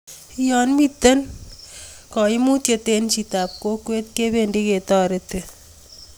ya mito kaimutie eng' chitab kokwet kibendi ketoreti